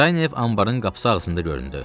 Kraynev anbarın qapısı ağzında göründü.